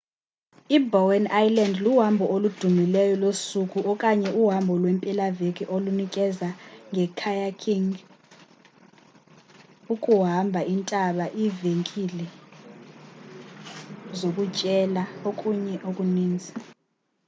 i-bowen island luhambo oludumileyo losuku okanye uhambo lweempelaveki olunikezela nge-kayaking ukuhamba intaba iivenkile iivenkile zokutyela nokunye okuninzi